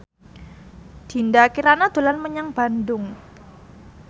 Dinda Kirana dolan menyang Bandung